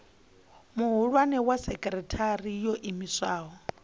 muhulwane wa sekithara yo iimisaho